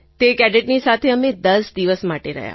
તે કેડેટની સાથે અમે દસ દિવસ માટે રહ્યા